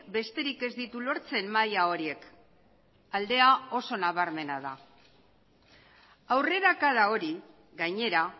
besterik ez ditu lortzen maila horiek aldea oso nabarmena da aurrerakada hori gainera